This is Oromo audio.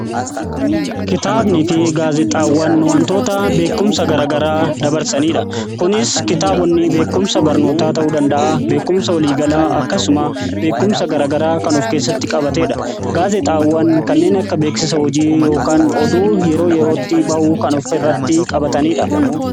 Kitaabnii fi gaazexaawwan wantoota beekumsa gara garaa dabarsanidha. Kunis kitaabonni beekumsa barnootaa ta'uu danda'a. Beekumsa waliigalaa akkasumas beekumsa gara garaa kan of keessatti qabatedha. Gaazexaawwan kanneen akka beeksisa hojii yookaan oduu yeroo yerootti bahu kan ofirratti qabatanidha.